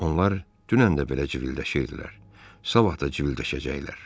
Onlar dünən də belə civildəşirdilər, sabah da civildəşəcəklər.